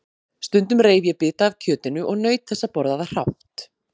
Stundum reif ég bita af kjötinu og naut þess að borða það hrátt.